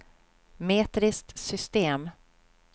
metriskt system